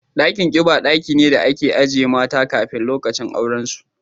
Dakin kiba daki ne da ake ajiye mata kafin lokacin auren su